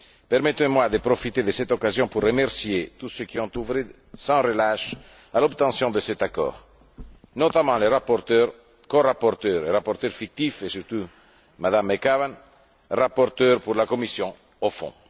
Permettez moi de profiter de cette occasion pour remercier tous ceux qui ont œuvré sans relâche à l'obtention de cet accord, notamment les rapporteurs, corapporteurs, rapporteurs fictifs et surtout Mme McAvan, rapporteure pour la commission au fond.